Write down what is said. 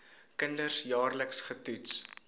kinders jaarliks getoets